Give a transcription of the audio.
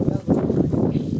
Gəl bura, gəl bura.